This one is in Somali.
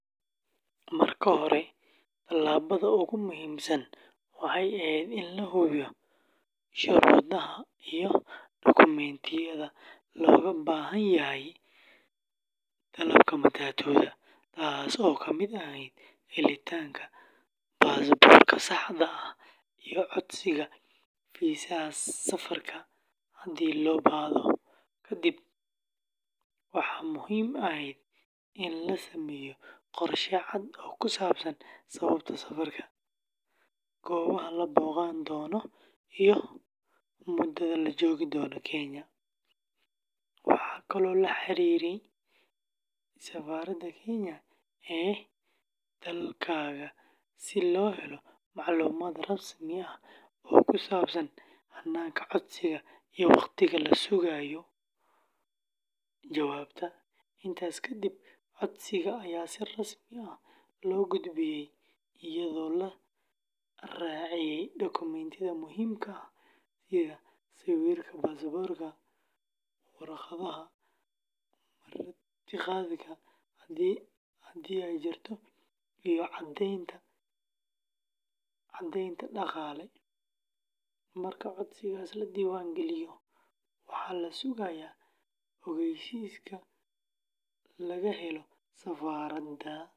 Marka hore, tallaabada ugu muhiimsan waxay ahayd in la hubiyo shuruudaha iyo dukumentiyada looga baahan yahay dalabka matatuda, taas oo ka mid ahayd helitaanka baasaboorka saxda ah iyo codsiga fiisaha safarka haddii loo baahdo. Kadib, waxaa muhiim ahayd in la sameeyo qorshe cad oo ku saabsan sababta safarka, goobaha la booqan doono, iyo muddada la joogi doono Kenya. Waxaa kaloo la xiriiray safaaradda Kenya ee dalkaaga si loo helo macluumaad rasmi ah oo ku saabsan hanaanka codsiga iyo waqtiga la sugayo jawaabta. Intaas kadib, codsiga ayaa si rasmi ah loo gudbiyay iyadoo la raaciyay dukumentiyada muhiimka ah sida sawirka baasaboorka, warqadda martiqaadka haddii jirto, iyo caddeynta dhaqaale. Marka codsiga la diiwaangeliyo, waxaa la sugayay ogeysiiska laga helayo safaaradda.